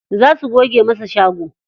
Za su goge masa shago.